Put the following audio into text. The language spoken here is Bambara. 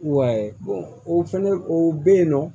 Wa o fɛnɛ o bɛ yen nɔ